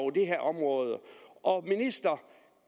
det her område og